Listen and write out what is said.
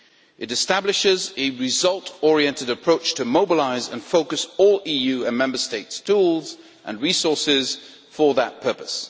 It establishes a result oriented approach to mobilise and focus all EU and Member States' tools and resources for that purpose.